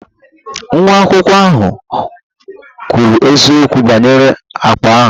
Nwa akwụkwọ ahụ ò kwuru eziokwu banyere akpa ahụ?